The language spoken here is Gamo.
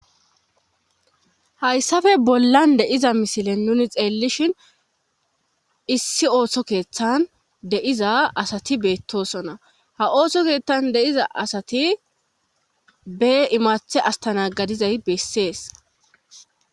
Hayssafe bollan deiza misilen nuni xeellishin issi ooso keeththan de'iza asati beettosona ha ooso keeththan deiza asati be imaathe astana gadizay bessees.